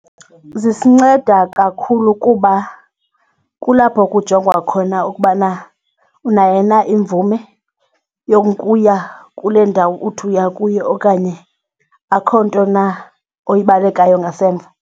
Zisinceda kakhulu kuba kulapho kujongwa khona ukubana unayo na imvume yokuya kule ndawo uthi uya kuyo okanye akho nto na oyibalekayo ngasemva.